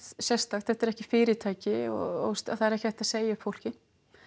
sérstakt þetta er ekki fyrirtæki og það er ekki hægt að segja upp fólki